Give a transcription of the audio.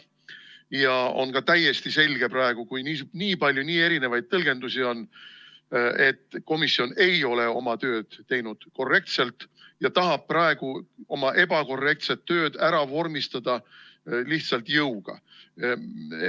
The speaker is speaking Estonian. Ja praegu on ka täiesti selge, et kui on nii palju nii erinevaid tõlgendusi, siis komisjon ei ole oma tööd teinud korrektselt ja tahab praegu oma ebakorrektset tööd ära vormistada lihtsalt jõuga.